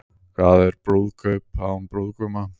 Hvað er brúðkaup án brúðguma?